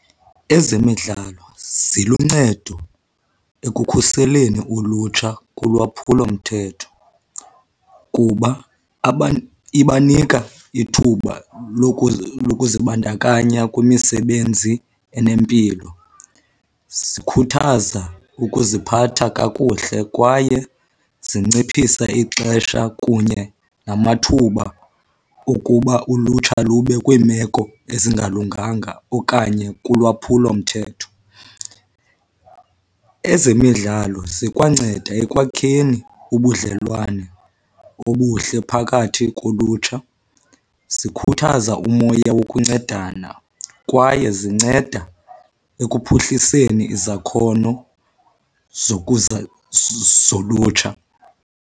Ezemidlalo ziluncedo ekukhuseleni ulutsha kulwaphulomthetho kuba ibanika ithuba lokuzibandakanya kwimisebenzi enempilo, zikhuthaza ukuziphatha kakuhle kwaye zinciphisa ixesha kunye namathuba okuba ulutsha lube kwiimeko ezingalunganga okanye kulwaphulomthetho. Ezemidlalo zikwanceda ekwakheni ubudlelwane obuhle phakathi kolutsha, zikhuthaza umoya wokuncedana kwaye zinceda ekuphuhliseni izakhono zolutsha.